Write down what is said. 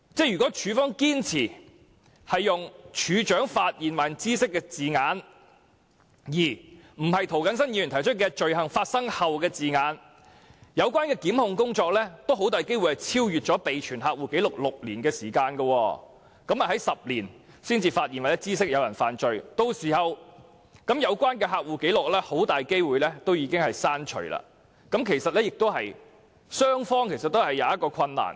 如果處方堅持"處長發現或知悉"的字眼，而非涂謹申議員提出的"罪行發生後"的字眼，有關的檢控工作很大機會超出備存客戶紀錄的6年時限，在第十年才"發現或知悉"有人犯罪，屆時有關的客戶紀錄很大機會已經被刪除，對雙方均造成困難。